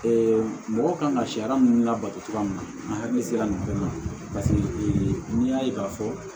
mɔgɔ kan ka sariya mun labato cogoya min na an hakili sera nin bɛɛ ma n'i y'a ye k'a fɔ